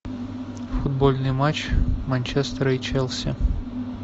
футбольный матч манчестера и челси